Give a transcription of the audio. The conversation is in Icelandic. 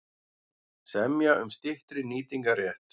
Semja um styttri nýtingarrétt